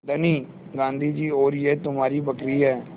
धनी गाँधी जी और यह तुम्हारी बकरी है